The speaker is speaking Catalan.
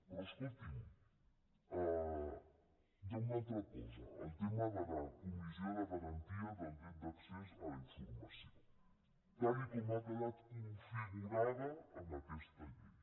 però escolti’m hi ha una altra cosa el tema de la comissió de garantia del dret d’accés a la informació tal com ha quedat configurada en aquesta llei